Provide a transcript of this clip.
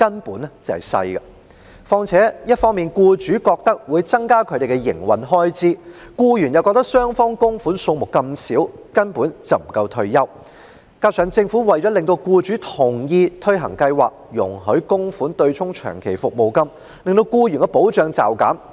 僱主認為向強積金供款會增加他們的營運開支，僱員又認為雙方供款金額這麼小，根本不足以保障他們的退休生活；加上政府為了令僱主同意推行計劃，便容許供款對沖長期服務金及遣散費，令僱員的保障驟減。